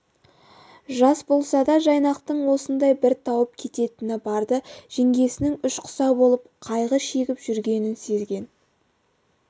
жас болса да жайнақтың осындай бір тауып кететіні барды жеңгесінің ішқұса болып қайғы шегіп жүргенін сезген